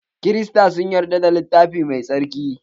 Krista sun yadda da littafi mai tsarki.